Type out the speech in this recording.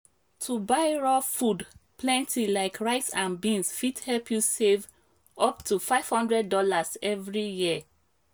to buy raw food plenty like rice and beans fit help you save up to five hundred dollars every year.